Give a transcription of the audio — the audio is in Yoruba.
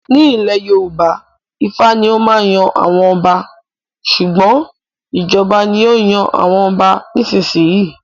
Nílé Yorùbá Ifá ni ó máa yan àwọn ọba. Ṣùgbọ́n, ìjọba ni ó ń yan àwọn ọba nísìnyí.